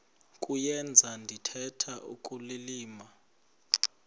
kuyenza ndithetha ukulilima